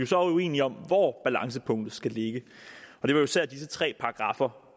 så uenige om hvor balancepunktet skal ligge og det var især de her tre paragraffer